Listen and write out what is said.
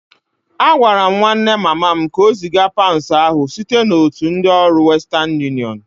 Agwara m nwanne mama m ka o ziga paụnd ahụ site n'otu ndị ọrụ ọ western unịọnụ